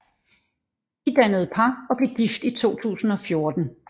De dannede par og blev gift i 2014